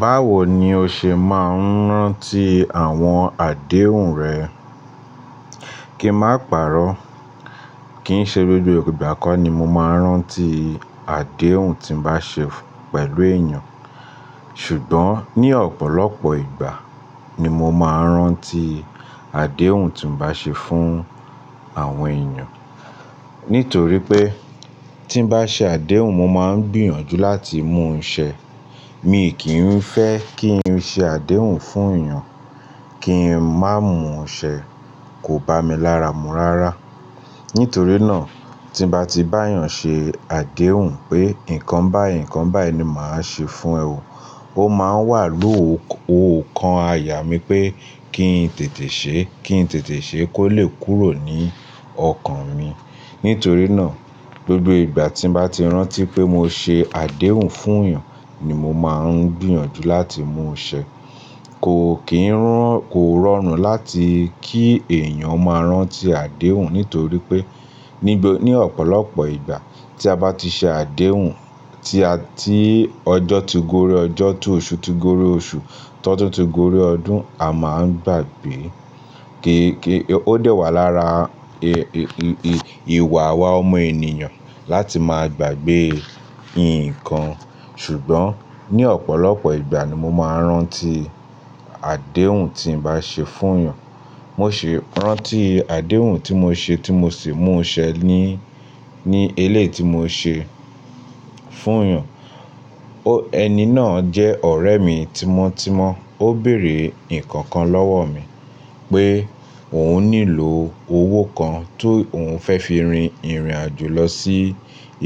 Báwo ni o ṣe máa ń rántí àwọn àdéhùn rẹ? Ki n má pàrọ́. Kìí ṣe gbogbo ìgbà kọ́ ni mo máa ń rántí àdéhùn tí m bá ṣe pẹ̀lú ènìyàn. Ṣùgbọ́n ní ọ̀pọ̀lọpọ̀ ìgbà ni mo máa ń rántí àdéhùn tí mo bá ṣe fún àwọn ènìyàn. Nítorí pé tí n bá ṣe àdéhùn, mo máa ń gbìyànjú láti mú un ṣẹ. Mi kì í fẹ́ kí n ṣe àdéhùn fún ènìyàn kí n má mú un ṣẹ. Kò bá mi lára mu rárá. Nítorí náà, tí n bá ti bá'yàn ṣe àdéhùn pé nǹkan báyìí, nǹkan báyìí ni màá ṣe fún ẹ o. Ó máa wà lóòó kan àyà mí pé kí n tètè ṣe, kí n tètè ṣe kó lè kúrò ní ọkàn mi. Nítorí náà, gbogbo ìgbà tí m bá ti rántí pé mo ṣe àdéhùn fún yàn ni mo máa ń gbìyànjú láti mú ṣẹ. Kò rọrùn láti kí èèyàn máa rántí àdéhùn nítorí pé ní ọ̀pọ̀lọpọ̀ ìgbà tí a bá ti ṣe àdéhùn, tí ọjọ́ ti gorí ọjọ́, tí oṣù ti gorí oṣù, tí ọdún ti gorí ọdún, a máa ń gbàgbé. Ó dẹ́wà lára ìwà wa ọmọ ènìyàn láti máa gbàgbé nǹkan. Ṣùgbọ́n ní ọ̀pọ̀lọpọ̀ ìgbà ni mo máa ń rántí àdéhùn tí mo bá ṣe fún ènìyàn. Mo ṣi rántí àdéhùn tí mo ṣe tí mo sì mú ṣẹ ní, ní eléyìí ti mo ṣe fún èèyàn. Ẹni náà jẹ́ ọ̀rẹ́ mi tímọ́ tímọ́. Ó bèrè ìkankan lọ́wọ́ mi pé òun nílò owó kan tó òun fẹ́ fi rin ìrìnàjò lọ sí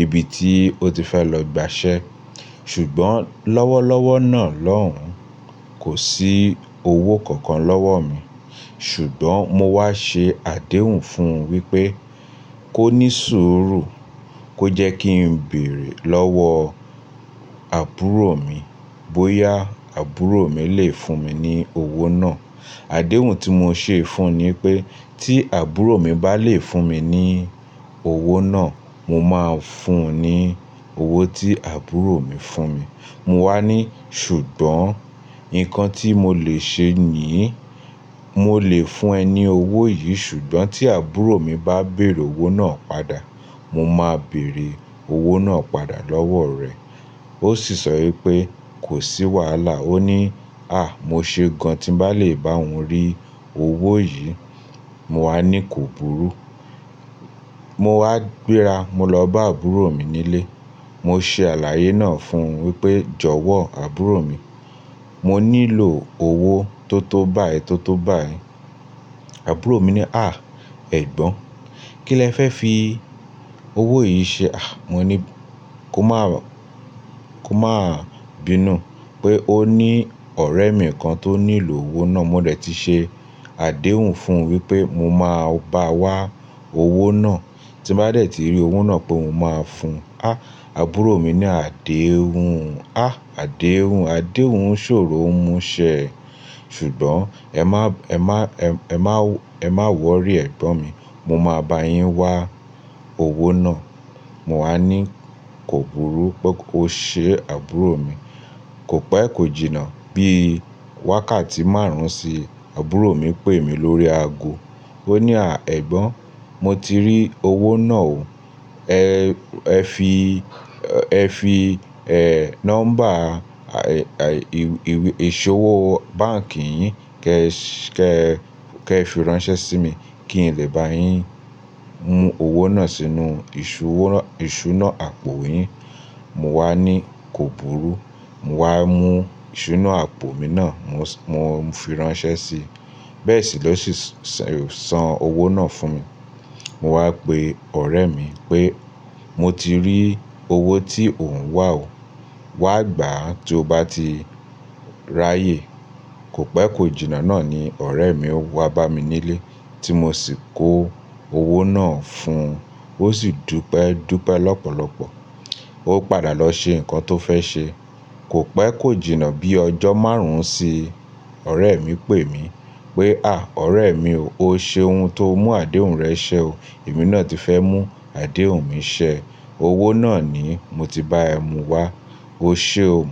ibi tí ó ti fẹ́ lọ gbà ṣẹ. Ṣùgbọ́n lọ́wọ́lọ́wọ́ náà lọ́hùn kó sí owó kankan lọ́wọ́ mi. Ṣùgbọ́n mo wá ṣe àdéhùn fún un wípé kó ní sùúrù, kó jẹ́ kí n béèrè lọ́wọ́ àbúrò mi bóyá àbúrò mi lè fún mi ní owó náà. Àdéhùn tí mo ṣe fún un ni pé tí àbúrò mi bá lè fún mi ní owó náà, mo máa fún un ní owó tí àbúrò mi fún mi. Mo wá ní Ṣùgbọ́n nǹkan tí mo lè ṣe níi, mo lè fún ẹ ní owó yìí, ṣùgbọ́n tí àbúrò mi bá bèrè owó náà padà, mo máa bèrè owó náà padà lọ́wọ́ rẹ. Ó sì sọ wípé kò sí wàhálà. Ó ní, "à! Mo ṣe gan tí m bá lè bá òun rí owó yìí." Mo wá ní kò burú. Mo wá gbéra, mo lọ bá àbúrò mi nílé. Mo ṣe àlàyé náà fún un wípé, "jọ̀wọ́ àbúrò mi, mo nílò owó tó tó báyìí, tó tó báyìí." Àbúrò mi ní, "à! Ẹ̀gbọ́n, kí lẹ fẹ́ fi owó yìí ṣe?" Mo ní kó má bínú pé ó ní ọ̀rẹ́ mi kan tó nílò owó náà. Mo dẹ tí ṣe àdéhùn fún un wípé mo máa bá a wá owó náà tí m bá dẹ̀ tí rí owó náà pé mo máa fún. Àbúrò mi ní àdéhùn, a! Àdéhùn, àdéhùn ṣòro ń mú ṣẹ. Ṣùgbọ́n ẹ má wọrí ẹ̀gbọ́n mi, mo máa bá yín wá owó náà. Mo wá ní kò burú. Ó ṣe àbúrò mi. Kò pẹ kò jìnà bí wákàtí márùn-ún sí, àbúrò mi pè mí lórí àgò. Ó ní, "à ẹ̀gbọ́n, mo ti rí owó náà ó. Ẹ fi nọ́mbà ìṣòwò báǹkì yín kẹ́ ẹ fi ránṣẹ́ sí mi kí n lè bá yín mú owó náà sínú ìṣúná àpò yín." Mo wá ní kò burú. Mo wá mú ìṣúná àpò mi náà, mo fi ránṣẹ́ sí i. Bẹ́ẹ̀ sì lo sì san owó náà fún mi. Mo wá pe ọ̀rẹ́ mi pé mo ti rí owó tí òun wá ó. Wá gbà á tí o bá ti ráyè. Kò pé kò jìnà náà ni ọ̀rẹ́ mi wá bá mi nílé tí mo sì kó owó náà fún un. Ó sì dúpẹ́ dúpẹ́ lọ́pọ̀lọpọ̀. Ó padà lọ ṣe nǹkan tó fẹ́ ṣe. Kò pẹ kò jìnà bí ọjọ́ márùn-ún sí, ọ̀rẹ́ mi pè mí pé, "à ọ̀rẹ́ mi o, o ṣeun tó mú àdéhùn rẹ ṣẹ ó. Èmi náà ti fẹ́ mú àdéhùn mi ṣẹ." Owó náà ni mo ti bá ẹ mu wá. Ó ṣe o.